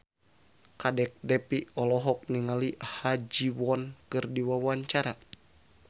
Kadek Devi olohok ningali Ha Ji Won keur diwawancara